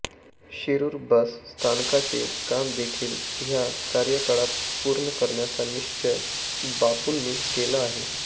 Shirur bus स्थानकाचे कामदेखील ह्या कार्यकाळात पूर्ण करण्याचा निश्चय बापूंनी केला आहे